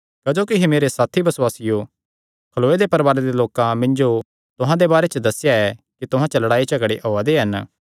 क्जोकि हे मेरे साथी बसुआसियो खलोये दे परवारे दे लोकां मिन्जो तुहां दे बारे च दस्सेया ऐ कि तुहां च लड़ाईझगड़े होआ दे हन